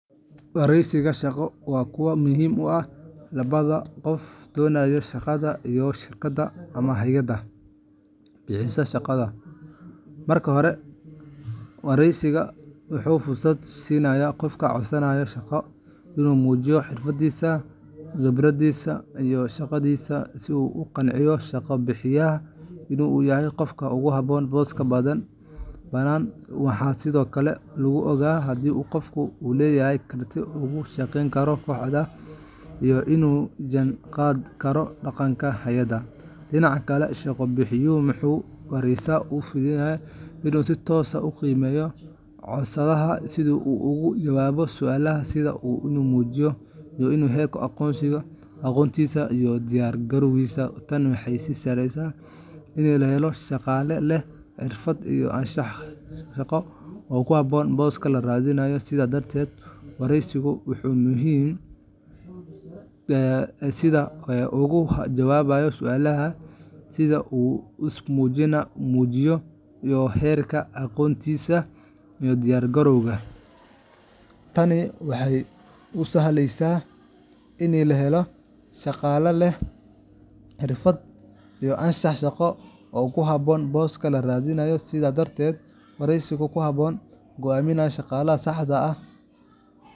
Wareysiyada shaqo waa kuwo muhiim u ah labadaba qofka doonaya shaqada iyo shirkadda ama hay’adda bixineysa shaqada. Marka hore, wareysigu wuxuu fursad siinayaa qofka codsanaya shaqada inuu muujiyo xirfadiisa, khibraddiisa, iyo shakhsiyaddiisa si uu u qanciyo shaqo-bixiyaha in uu yahay qofka ugu habboon booska banaan. Waxaa sidoo kale lagu ogaadaa haddii qofka uu leeyahay karti uu uga shaqeyn karo kooxda iyo inuu la jaan qaadi karo dhaqanka hay’adda. Dhinaca kale, shaqo-bixiyuhu wuxuu wareysiga uga faa’iidaystaa in uu si toos ah u qiimeeyo codsadaha: sida uu uga jawaabo su’aalaha, sida uu isu muujiyo, iyo heerka aqoontiisa iyo diyaar-garowgiisa. Tani waxay u sahlaysaa in la helo shaqaale leh xirfado iyo anshax shaqo oo ku habboon booska la raadinayo. Sidaas darteed, wareysigu waa hab muhiim ah oo lagu go’aamiyo shaqaaleysiinta saxda ah.